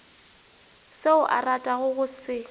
seo a ratago go se